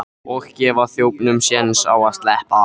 Og gefa þjófunum sjens á að sleppa!